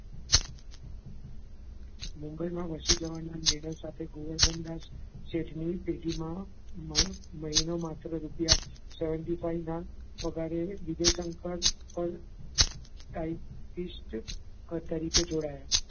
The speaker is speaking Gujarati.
મુંબઈનાં વસી જવાનાં નિડર સાથે ગોવર્ધનદાસ સેઠની પેટીમાં મહિનો માત્ર રૂપિયા seventy five ના પગારે વિજય શંકર પણ typist તરીકે જોડાયા.